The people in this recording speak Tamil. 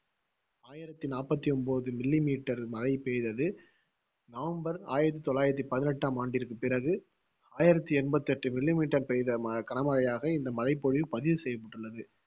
ஆயிரத்தி நாப்பத்தி ஒன்பது millimeter மழை பெய்தது. நவம்பர் ஆயிரத்தி தொள்ளாயிரத்தி பதினெட்டாம் ஆண்டிற்கு பிறகு ஆயிரத்தி எண்பத்தி எட்டு millimeter பெய்த கனமழையாக, இந்த மழைப்பொழிவு பதிவு செய்யப்பட்டுள்ளது